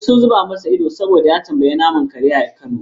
Duk suka zuba masa ido saboda ya tambayi naman kare a kano.